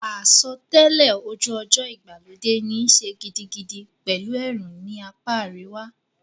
Àsotẹ́lẹ̀ ojú ọjọ́ ìgbàlódé níí ṣe gidigidi pẹ̀lú ẹ̀rùn ní apá àríwá.